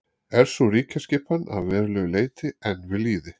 er sú ríkjaskipan að verulegu leyti enn við lýði